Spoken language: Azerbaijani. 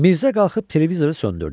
Mirzə qalxıb televizoru söndürdü.